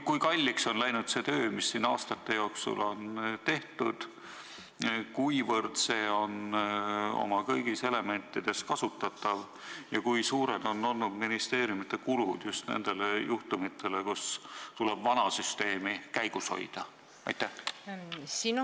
Kui kalliks on läinud see töö, mis aastate jooksul on tehtud, kuivõrd see on oma kõigis elementides kasutatav ja kui suured on olnud ministeeriumide kulutused just nendele juhtumitele, kui tuleb vana süsteemi käigus hoida?